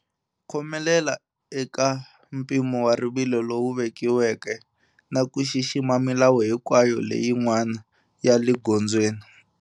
Khomelela eka mpimo wa rivilo lowu vekiweke na ku xixima milawu hinkwayo leyin'wana ya le gondzweni.